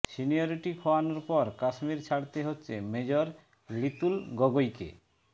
seniority খোয়ানোর পর কাশ্মীর ছাড়তে হচ্ছে মেজর লিতুল গগৈকে